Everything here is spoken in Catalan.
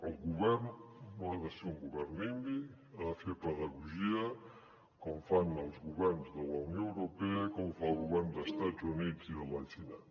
el govern no ha de ser un govern nimby ha de fer pedagogia com fan els governs de la unió europea com fan els governs d’estats units i de la xina